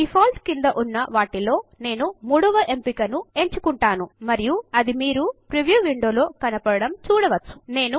Defaultక్రింద ఉన్న వాటిలో నేను మూడవ ఎంపికను ఎంచుకుంటాను మరియు అది మీరు ప్రీవ్యూ విండో లో కనపడడం చూడవచ్చు